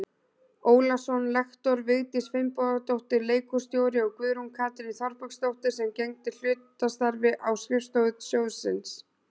Ólason lektor, Vigdís Finnbogadóttir leikhússtjóri og Guðrún Katrín Þorbergsdóttir sem gegndi hlutastarfi á skrifstofu sjóðsins.